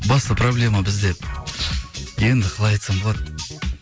басты проблема бізде енді қалай айтсам болады